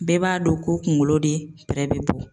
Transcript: Bɛɛ b'a dɔn ko kunkolo de bɛ bɔ.